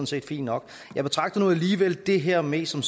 set fint nok jeg betragter nu alligevel det her mest som